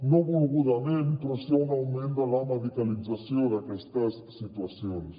no volgudament però sí a un augment de la medicalització en aquestes situacions